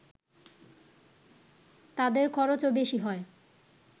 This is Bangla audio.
তাদের খরচও বেশি হয়